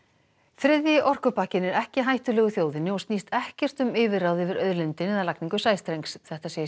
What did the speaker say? þriðji orkupakkinn er ekki hættulegur þjóðinni og snýst ekkert um yfirráð yfir auðlindinni eða lagningu sæstrengs þetta segir